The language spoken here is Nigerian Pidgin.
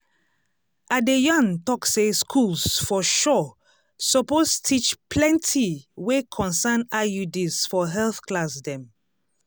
i de yan tok say schools for sure suppose teach plenti wey concern iuds for health class dem